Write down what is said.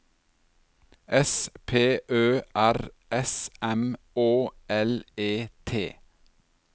S P Ø R S M Å L E T